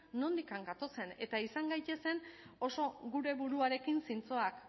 nondik gatozen eta izan gaitezen oso gure buruarekin zintzoak